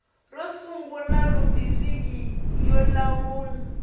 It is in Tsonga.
ro sungula rhubiriki yo lawula